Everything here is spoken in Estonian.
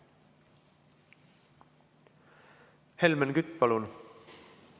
Helmen Kütt, palun!